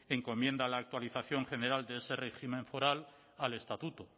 encomienda la actualización general de ese régimen foral al estatuto